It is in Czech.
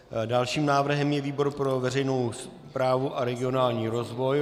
Dalším návrhem je výbor pro veřejnou správu a regionální rozvoj.